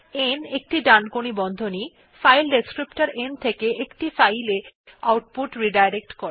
n একটি ডানকোণী বন্ধনী ফাইল ডেসক্রিপ্টর n থেকে একটি ফাইল এ আউটপুট রিডাইরেক্ট করে